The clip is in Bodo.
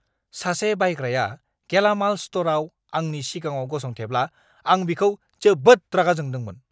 सासे बायग्राया गेलामाल स्ट'रआव आंनि सिगाङाव गसंथेब्ला आं बिखौ जोबोद रागा जोंदोंमोन!